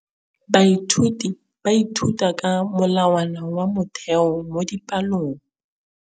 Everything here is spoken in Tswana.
Baithuti ba ithuta ka molawana wa motheo mo dipalong.